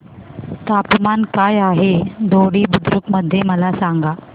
तापमान काय आहे दोडी बुद्रुक मध्ये मला सांगा